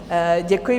Děkuji.